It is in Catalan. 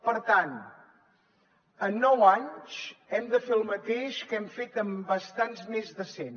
per tant en nou anys hem de fer el mateix que hem fet amb bastants més de cent